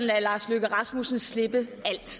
lader lars løkke rasmussen slippe alt